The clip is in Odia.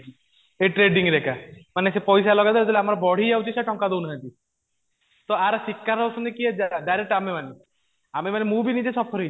ଏ ଟ୍ରେଡିଂ ମାନେ ସେ ପଇସା ଲଗେଇଦେଲା ଯେତେବେଳେ ଆମର ବଢିଯାଉଛି ସେ ଟଙ୍କା ଦଉନାହାନ୍ତି ତ ଆର ଶିକାର ହଉଛନ୍ତି କିଏ direct ଆମେ ମାନେ ଆମେ ମାନେ ମୁଁ ବି ନିଜେ suffer ହେଇଚି